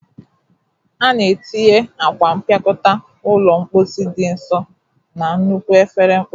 A na-etinye akwa mpịakọta ụlọ mposi dị nso na nnukwu efere mposi